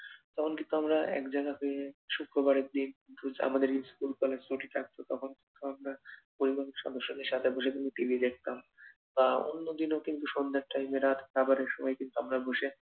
তখন কিন্তু আমরা এক জায়গাতে শুক্রবারের দিন আমাদের স্কুল কলেজ ছুটি থাকতো তখন আমরা পরিবারের সদস্যদের সাথে কিন্তু বসে টিভি দেখতাম বা অন্য দিনও কিন্তু সন্ধ্যের time এ রাত খাবারের সময় কিন্তু আমরা বসে